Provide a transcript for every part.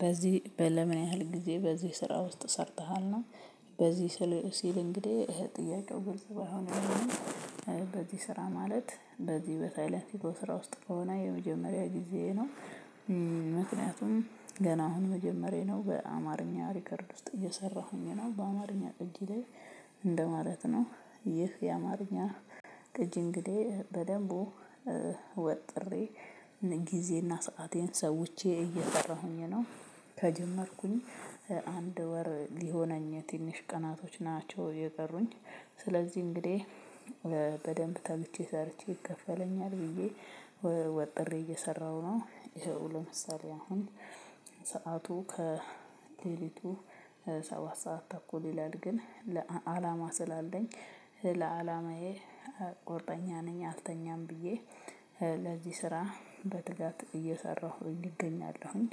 በዚህ በለምን ያህል ጊዜ በዚህ ስራ ውስጥ ሰርተሃል ነው? በዚህ ስል ሲል እንግዲህ ጥያቄው ግልጽ ባይሆንም። በዚህ ስራ ማለት በዚህ በሳይለንሱ ስራ ውስጥ ከሆነ የመጀመሪያ ጊዜ ነው። ምክንያቱም ገና አሁን መጀመሪያ ነው በአማርኛ ሪከርድ ውስጥ እየሰራሁኝ ነው በአማርኛ ቅጂ ላይ። እንደማለት ነው ይህ የአማርኛ ቅጂ እንግዲህ በደንቡ ወጥሬ ጊዜና ሰአቴን ሰውቼ እየሰራሁኝ ነው። ከጀመርኩኝ አንድ ወር ሊሆነኝ ትንሽ ቀናቶች ናቸው የቀሩኝ። ስለዚህ እንግዲህ በደንብ ተግቼ ሰርቼ ይከፈለኛል ብዬ ወጥሬ እየሰራሁ ነው። ይኸው ለምሳሌ አሁን ሰዓቱ ከሌሊቱ ሰባት ሰዓት ተኩል ይላል ግን ለአላማ ስላለኝ ለአላማዬ ቆርጠኛ ነኝ አልተኛም ብዬ ለዚህ ስራ በትጋት እየሰራሁኝ እገኛለሁኝ።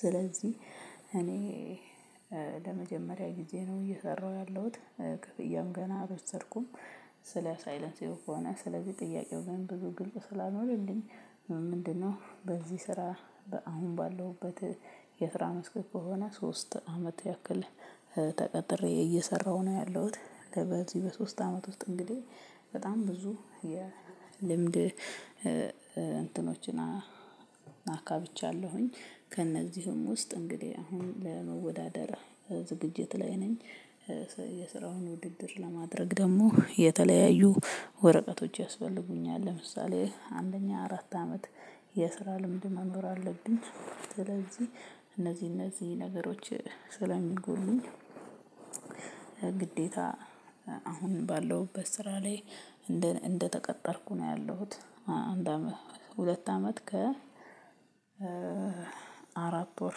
ስለዚህ እኔ ለመጀመሪያ ጊዜ ነው እየሰራሁ ያለሁት ክፍያም ገና አልወሰድኩም። ስለ ሳይለንስ ከሆነ ስለዚህ ጥያቄው ግን ብዙ ግልጽ ስላልሆናልኝ። ምንድነው በዚህ ስራ በአሁን ባለውበት የስራ መስክ ከሆነ ሶስት አመት ያክል ተቀጥሬ እየሰራሁ ነው ያለሁት። በዚህ በሶስት አመት ውስጥ እንግዲህ በጣም ብዙ የልምድ እንትኖችን አካብቻለሁኝ ከእነዚህም ውስጥ እንግዲህ አሁን ለመወዳደር ዝግጅት ላይ ነኝ። የስራውን ውድድር ለማድረግ ደግሞ የተለያዩ ወረቀቶች ያስፈልጉኛል ለምሳሌ አንደኛ አራት አመት የስራ ልምድ መኖር አለብኝ። ስለዚህ እነዚህ እነዚህ ነገሮች ስለሚጎሉኝ ግዴታ አሁን ባለሁበት ስራ ላይ። እንደተቀጠርኩ ነው ያለሁት አንድ አመት ሁለት አመት ከ አራት ወር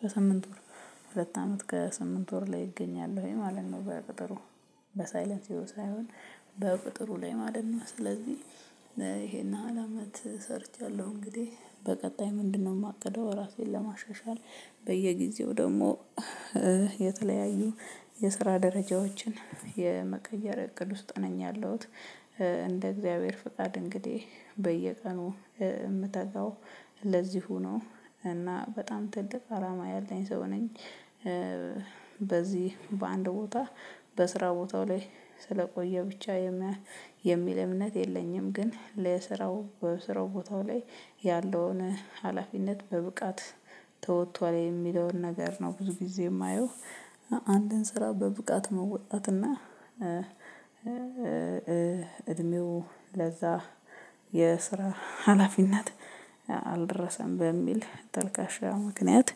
በሰምንት ወር ሁለት አመት ከሰምንት ወር ላይ እገኛለሁኝ ማለት ነው። በቅጥሩ በሳይለንስ ሳይሆን በቅጥሩ ላይ ማለት ነው። ስለዚህ ይሄን ያህል አመት ሰርቻለሁ። እንግዲህ በቀጣይ ምንድነው የማቅደው ራሴን ለማሻሻል በየጊዜው ደግሞ የተለያዩ የስራ ደረጃዎችን የመቀየር እቅድ ውስጥ ነኝ ያለሁት። እንደ እግዚአብሔር ፍቃድ እንግዲህ በየቀኑ የምታጋው ለዚሁ ነው። እና በጣም ትልቅ አላማ ያለኝ ሰው ነኝ። በዚህ በአንድ ቦታ በስራ ቦታው ላይ ስለቆየ ብቻ የሚል እምነት የለኝም። ግን ለስራው በስራው ቦታው ላይ ያለውን ሀላፊነት በብቃት ተወጥቷል የሚለውን ነገር ነው ብዙ ጊዜ የማየው። አንድን ስራ በብቃት መወጣት እና እድሜው ለዛ የስራ ሀላፊነት አልደረሰም በሚል ተልካሻ ምክንያት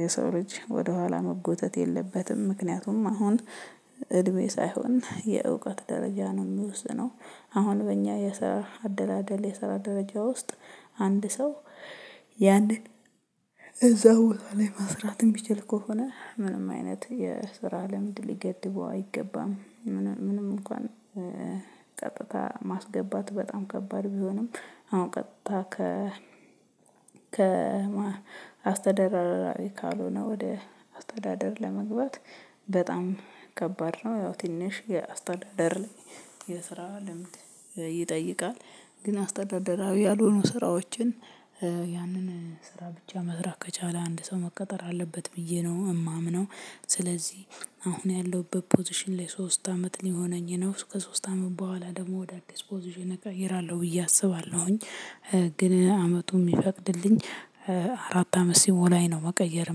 የሰው ልጅ ወደኋላ መጎተት የለበትም። ምክንያቱም አሁን እድሜ ሳይሆን የእውቀት ደረጃ ነው የሚወስድ ነው። አሁን በእኛ የሰራ አደላደል የሰራ ደረጃ ውስጥ አንድ ሰው ያንን እዛው ላይ ማስራት የምችለው ከሆነ ምንም አይነት የስራ ልምድ ሊገድበው አይገባም። ምንም እንኳን ቀጥታ ማስገባት በጣም ከባድ ቢሆንም አሁን ቀጥታ ከ ከአስተዳደር አራቢ ካልሆነ ወደ አስተዳደር ለመግባት በጣም ከባድ ነው። ያው ትንሽ የአስተዳደር ላይ የስራ ልምድ ይጠይቃል። ግን አስተዳደራዊ ያልሆኑ ስራዎችን ያንን ስራ ብቻ መስራት ከቻለ አንድ ሰው መቀጠር አለበት ብዬ ነው የማምነው። ስለዚህ አሁን ያለሁበት ፖዚሽን ላይ ሶስት አመት ሊሆነኝ ነው ከሶስት አመት በኋላ ደግሞ ወደ አዲስ ፖዚሽን እቀይራለሁ ብዬ አስባለሁኝ። ግን አመቱ የሚፈቅድልኝ አራት አመት ሲሞላኝ ነው መቀየር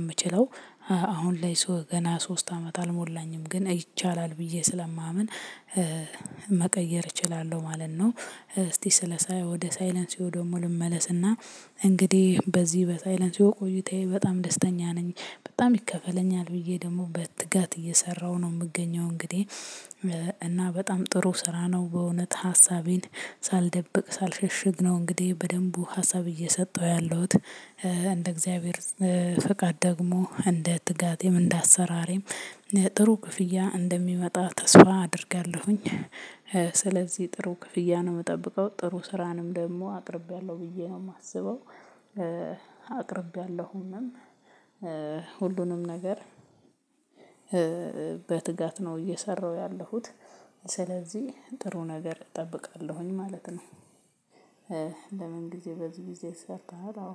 የምችለው። አሁን ላይ ሰው ገና ሶስት አመት አልሞላኝም ግን ይቻላል ብዬ ስለማምን መቀየር እችላለሁ ማለት ነው። እስቲ ስለ ወደ ሳይለንስው ደግሞ ልመለስና እንግዲህ በዚህ በሳይለንስው ቆይታዬ በጣም ደስተኛ ነኝ። በጣም ይከፈለኛል ብዬ ደግሞ በትጋት እየሰራሁ ነው የምገኘው እንግዲህ። እና በጣም ጥሩ ስራ ነው በእውነት ሀሳቤን ሳልደብቅ ሳልሸሽግ ነው እንግዲህ በደንቡ ሀሳብ እየሰጠሁ ያለሁት። እንደ እግዚአብሔር ፈቃድ ደግሞ እንደ ትጋት እንደ አሰራርም ጥሩ ክፍያ እንደሚመጣ ተስፋ አደርጋለሁኝ። ስለዚህ ጥሩ ክፍያ ነው የምጠብቀው ጥሩ ስራንም ደግሞ አቅርቤያለሁ ብዬ ነው የማስበው። አቅርቤያለሁምም ሁሉንም ነገር በትጋት ነው እየሰራሁ ያለሁት ስለዚህ ጥሩ ነገር እጠብቃለሁኝ ማለት ነው። ለምን ጊዜ በዚህ ጊዜ ሰርተሃል? አዎ